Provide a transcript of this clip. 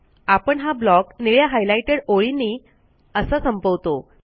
आपण हा ब्लॉक निळ्या हायलाइटेड ओळींनी असा संपवतो